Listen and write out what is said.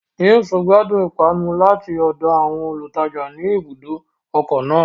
James gbadun ipanu lati ọdọ awọn olutaja ní ibùdó ọkọ náà